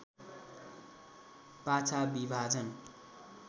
पाछा विभाजन